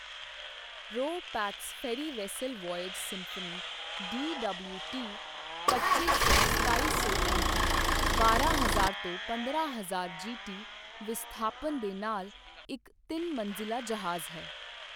ਰੋ pax ferry vessel voyage symphony DWT ਪੱਚੀ ਸੌ ਸਤਾਈ ਸੌ ਐੱਮਟੀ, ਬਾਰਾਂ ਹਜ਼ਾਰ ਤੋਂ ਪੰਦਰਾਂ ਹਜ਼ਾਰ ਜੀਟੀ ਵਿਸਥਾਪਨ ਦੇ ਨਾਲ ਇੱਕ ਤਿੰਨ ਮੰਜ਼ਿਲਾ ਜਹਾਜ਼ ਹੈ।